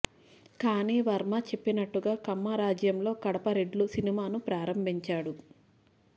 కానీ వర్మ చెప్పినట్టుగా కమ్మ రాజ్యంలో కడప రెడ్లు సినిమాను ప్రారంభించాడు